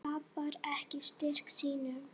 Tapar ekki styrk sínum.